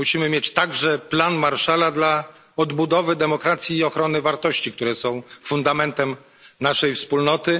Musimy mieć także plan Marshalla dla odbudowy demokracji i ochrony wartości, które są fundamentem naszej Wspólnoty.